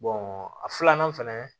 a filanan fɛnɛ